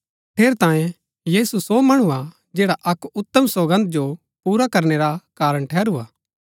ठेरैतांये यीशु सो मणु हा जैडा अक्क उतम सौगन्द जो पुरा करनै रा कारण ठहरू हा